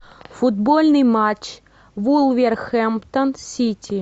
футбольный матч вулвергэмптон сити